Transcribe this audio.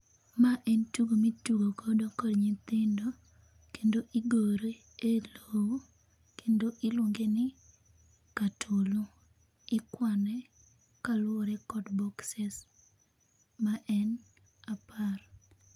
Ma en tugo mitugo godo kod nyithindo kendo igore e lowo kendo iluonge ni katolo. Ikwane kaluore kod boxes ma en apar